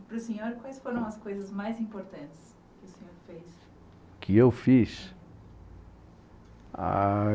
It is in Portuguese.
E para o senhor, quais foram as coisas mais importantes que o senhor fez? Que eu fiz? Ah...